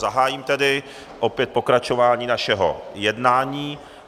Zahájím tedy opět pokračování našeho jednání.